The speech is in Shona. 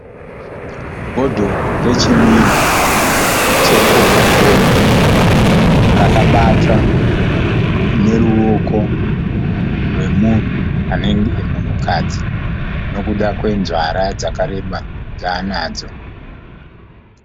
Bhodhoro rechinwiwa chekokoora rakabatwa neruoko rwunenge rwemunhukadzi nekuda kwenzara dzakareba dzaanadzo.